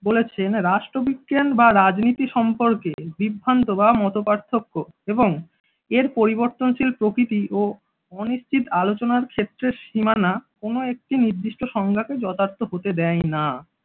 বলেছেন রাষ্ট্রবিজ্ঞান বা রাজনীতি সম্পর্কে বিভ্রান্ত বা মতপার্থক্য এবং এর পরিবর্তনশীল প্রকৃতি ও অনিশ্চিত আলোচনার ক্ষেত্রে সীমানা কোন একটি নির্দিষ্ট সংজ্ঞাকে যথার্থ হতে দেয় না।